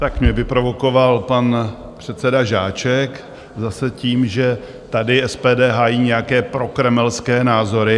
Tak mě vyprovokoval pan předseda Žáček zase tím, že tady SPD hájí nějaké prokremelské názory.